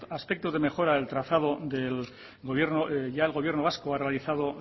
aspectos de mejora del trazado ya el gobierno vasco ha realizado